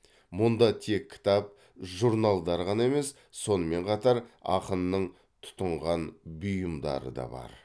мұнда тек кітап журналдар ғана емес сонымен қатар ақынның тұтынған бұйымдары да бар